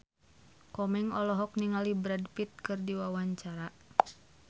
Komeng olohok ningali Brad Pitt keur diwawancara